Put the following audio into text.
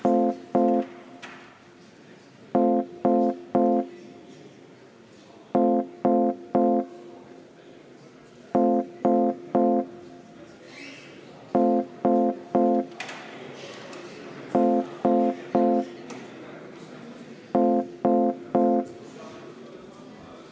Hääletustulemused Selle muudatusettepaneku poolt oli 18 ja vastu 31 Riigikogu liiget, erapooletuid oli 1.